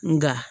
Nga